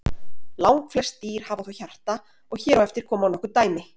langflest dýr hafa þó hjarta og hér á eftir koma nokkur dæmi